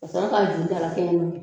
Ka sɔrɔ ka ju dala kɛɲɛ